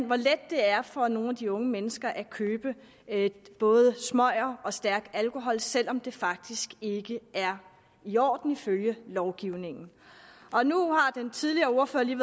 hvor let det er for nogle af de unge mennesker at købe både smøger og stærk alkohol selv om det faktisk ikke er i orden ifølge lovgivningen den tidligere ordfører har